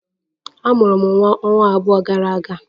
A mụrụ m nwa ọnwa abụọ gara aga